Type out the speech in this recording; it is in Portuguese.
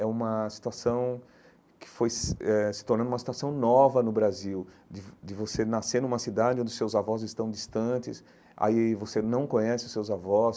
É uma situação que foi se eh se tornando uma situação nova no Brasil, de vo de você nascer numa cidade onde os seus avós estão distantes, aí você não conhece os seus avós.